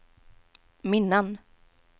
minnen